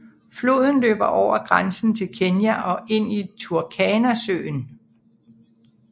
Floden løber over grænsen til Kenya og ind i Turkanasøen